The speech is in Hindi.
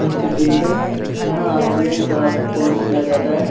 इंस्टिट्यूट है यहाँ आई.टी.आई. का कोर्स किया जाता है।